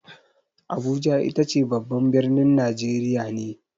Abuja itace babban birnin Najeriya ne.